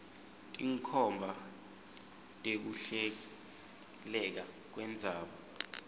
tinkhomba tekuhleleka kwendzaba